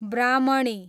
ब्राह्मणी